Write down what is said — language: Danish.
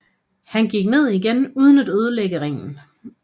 Han gik ned igen uden at ødelægge ringen